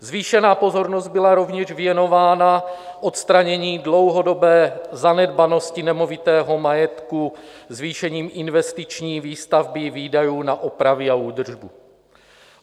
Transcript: Zvýšená pozornost byla rovněž věnována odstranění dlouhodobé zanedbanosti nemovitého majetku zvýšením investiční výstavby výdajů na opravy a údržbu.